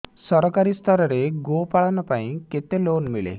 ସରକାରୀ ସ୍ତରରେ ଗୋ ପାଳନ ପାଇଁ କେତେ ଲୋନ୍ ମିଳେ